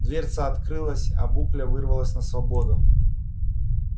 дверца открылась а букля вырвалась на свободу